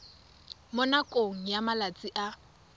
mo nakong ya malatsi a